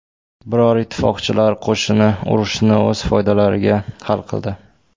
Biroq ittifoqchilar qo‘shini urushni o‘z foydalariga hal qildi.